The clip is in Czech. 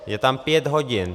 Je tam pět hodin.